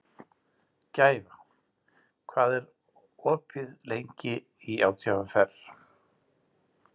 Gæfa, hvað er opið lengi í ÁTVR?